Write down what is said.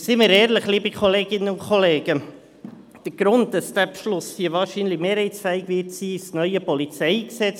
Und seien wir ehrlich, liebe Kolleginnen und Kollegen: Der Grund, weshalb dieser Beschluss hier wahrscheinlich mehrheitsfähig sein wird, ist das neue PolG.